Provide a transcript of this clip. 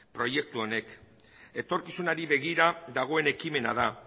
proiektu honek etorkizunari begira dagoen ekimena da